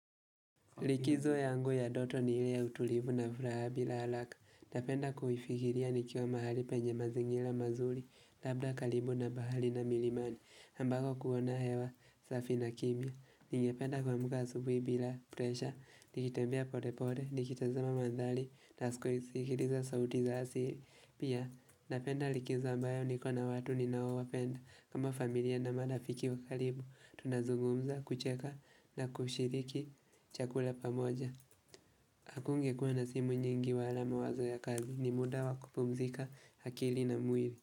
Likizo yangu ya dnoto ni ili ya utulivu na furaha bila haraka. Napenda kuifikiria nikiwa mahali penye mazingira mazuri, labda karibu na bahari na milimani. Ambako kuona hewa, safi na kimya. Ningependa kuamka asubuhi bila, presha, nikitembea pole pole, nikitazama mandhari, nasiko isikiliza sauti za asili. Pia, napenda likizo ambayo niko na watu ninaowapenda. Kama familia na marafiki wakaribu, tunazungumza kucheka na kushiriki chakula pamoja Hakungekuwa na simu nyingi wa ala mawazo ya kazi ni muda wakupumzika akili na mwili.